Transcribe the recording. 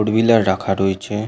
Four wheeler রাখা রয়েছে।